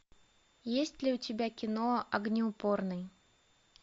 есть ли у тебя кино огнеупорный